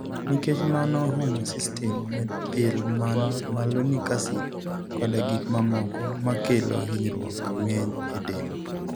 Nikech mano, homocystine, methylmalonic acid, koda gik mamoko makelo hinyruok ng'eny e del.